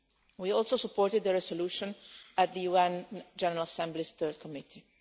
We also supported the resolution at the UN General Assembly's Third Committee.